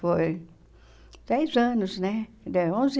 Foi... Dez anos, né? Deram onze